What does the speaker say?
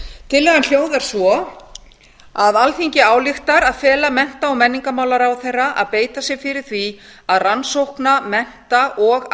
tillagan hljóðar svo alþingi ályktar að fela mennta og menningarmálaráðherra að beita sér fyrir því að rannsókna mennta og